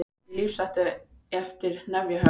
Í lífshættu eftir hnefahögg